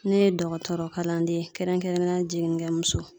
Ne ye dɔgɔtɔrɔ kalanden kɛrɛnkɛrɛnnenyala jiginnikɛmuso